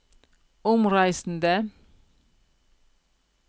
omreisende